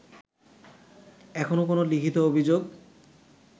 এখনো কোনো লিখিত অভিযোগ